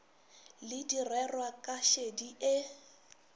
le direrwa ka šedi ye